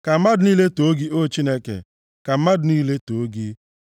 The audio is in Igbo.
Ka mmadụ niile too gị, O Chineke; ka mmadụ niile too gị.